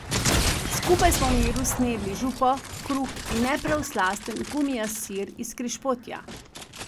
Skupaj smo v miru snedli župo, kruh in ne prav slasten gumijast sir iz Križpotja.